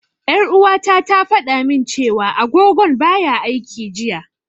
Ƴar'uwata ta fada min cewa agogon baya aiki jiya.